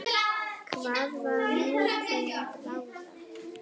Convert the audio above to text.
Hvað var nú til ráða?